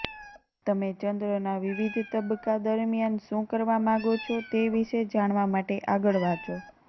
તમે ચંદ્રના વિવિધ તબક્કા દરમિયાન શું કરવા માગો છો તે વિશે જાણવા માટે આગળ વાંચો